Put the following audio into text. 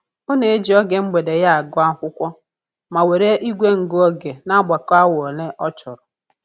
Ọ na-eji oge mgbede ya agụ akwụkwọ, ma were igwe ngụ oge na-agbakọ awa ole ọ chọrọ